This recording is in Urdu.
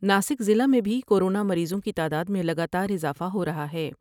ناسک ضلع میں بھی کورو نا مریضوں کی تعداد میں لگا تا راضافہ ہورہا ہے ۔